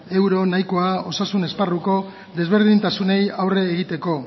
euro nahikoa osasun esparruko desberdintasunei aurre egiteko